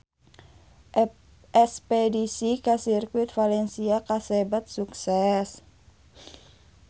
Espedisi ka Sirkuit Valencia kasebat sukses